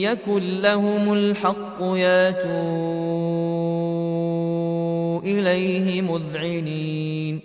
يَكُن لَّهُمُ الْحَقُّ يَأْتُوا إِلَيْهِ مُذْعِنِينَ